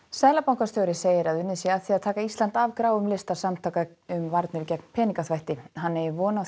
seðlabankastjóri segir að unnið sé að því að taka Ísland af gráum lista samtaka um varnir gegn peningaþvætti hann eigi von á